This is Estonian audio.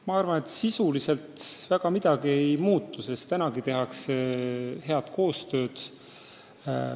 Ma arvan, et sisuliselt väga midagi ei muutu, sest praegu tehakse IMF-iga head koostööd.